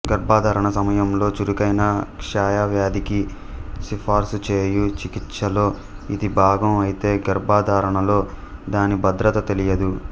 గర్భధారణ సమయంలో చురుకైన క్షయవ్యాధికి సిఫార్సుచేయు చికిత్సలో ఇది భాగం అయితే గర్భధారణలో దాని భద్రత తెలియదు